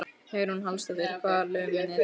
Hugrún Halldórsdóttir: Hvaða lög munuð þið taka?